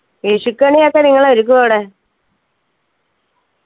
വിഷുക്കണിയൊക്കെ നിങ്ങൾ ഒരുക്കോ അവിടെ